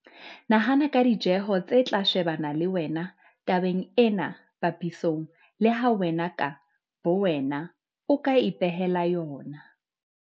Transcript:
Nahana ka ditjeho tse tla shebana le wena tabeng ena papisong le ha wen aka bowena o ka ipehela yona.